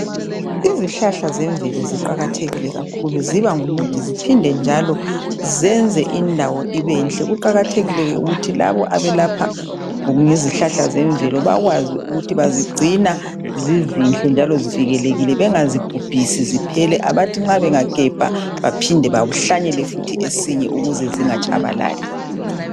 Izihlahla zemvelo ziqakathekile kakhulu, ziba ngumuthi ziphinde njalo zenze indawo ibenhle. Kuqakathekile ukuthi labo abelapha ngezihlahla zemvelo bakwazi ukuthi bazigcina zizinhle njalo zivikelekile bengazibhubhisi ziphele. Abathi nxa bengagebha baphinde bahlanyele futhi esinye ukuze zingatshabalali.